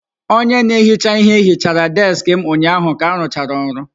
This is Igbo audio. Onye na-ehicha ihe hichara deskị m ụnyaahụ ka arụchara ọrụ.